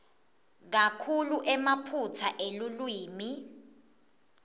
kakhulu emaphutsa elulwimi